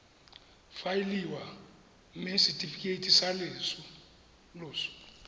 faeliwa mme setefikeiti sa loso